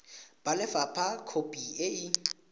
ba lefapha khopi e e